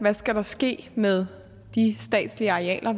hvad skal der ske med de statslige arealer